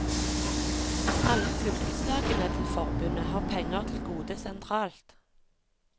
Alle fylkeslagene til forbundet har penger til gode sentralt.